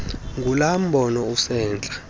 ngulaa mbono usentla